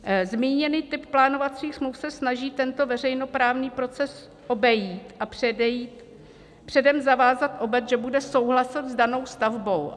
Zmíněný typ plánovacích smluv se snaží tento veřejnoprávní proces obejít a předem zavázat obec, že bude souhlasit s danou stavbou.